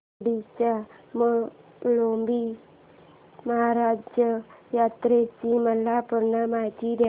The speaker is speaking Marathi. दोडी च्या म्हाळोबा महाराज यात्रेची मला पूर्ण माहिती दे